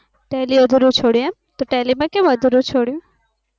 tally અધૂરું છોડ્યું એમ તો tally માં કેમ અધૂરું છોડ્યું